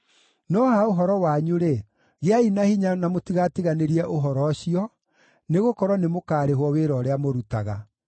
No ha ũhoro wanyu-rĩ, gĩai na hinya na mũtigatiganĩrie ũhoro ũcio, nĩgũkorwo nĩ mũkaarĩhwo wĩra ũrĩa mũrutaga.”